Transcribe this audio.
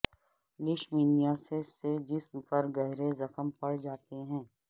leishmaniasis سے جسم پر گہرے زخم پڑ جاتے ہیں